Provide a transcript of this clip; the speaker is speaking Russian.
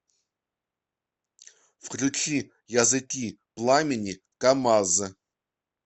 включи языки пламени камаз